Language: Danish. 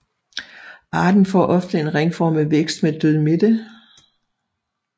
Arten får ofte en ringformet vækst med død midte